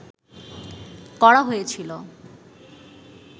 করা হয়েছিল